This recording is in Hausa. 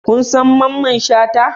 Kun san Mamman shata?